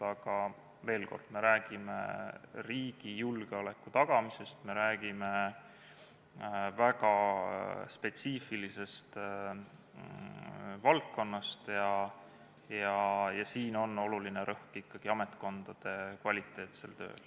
Aga veel kord: me räägime riigi julgeoleku tagamisest, me räägime väga spetsiifilisest valdkonnast ja siin on oluline rõhk ikkagi ametkondade kvaliteetsel tööl.